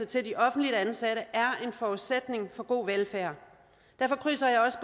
til de offentligt ansatte er en forudsætning for god velfærd derfor krydser jeg også